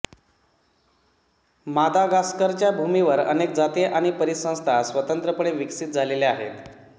मादागास्करच्या भूमीवर अनेक जाती आणि परिसंस्था स्वतंत्रपणे विकसित झालेल्या आहेत